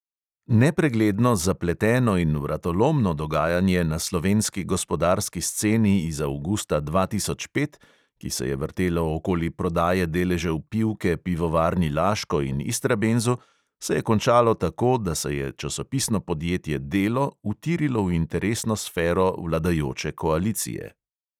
Nepregledno, zapleteno in vratolomno dogajanje na slovenski gospodarski sceni iz avgusta dva tisoč pet, ki se je vrtelo okoli prodaje deležev pivke pivovarni laško in istrabenzu, se je končalo tako, da se je časopisno podjetje delo utirilo v interesno sfero vladajoče koalicije.